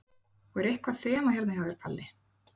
Og er eitthvað þema hérna hjá þér, Palli?